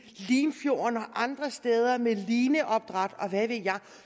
limfjorden og andre steder med lineopdræt og hvad ved jeg